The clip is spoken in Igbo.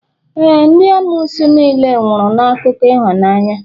ee, ndị amoosu niile nwụrụ na akụkọ ịhụnanya